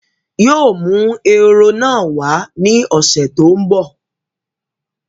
Yii o mú ehoro náà wá ní ọ̀sẹ̀ tòun bọ̀